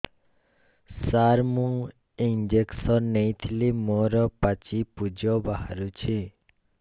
ସାର ମୁଁ ଇଂଜେକସନ ନେଇଥିଲି ମୋରୋ ପାଚି ପୂଜ ବାହାରୁଚି